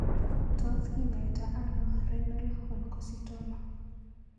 Tos kinyaita ano Renal Oncocytoma?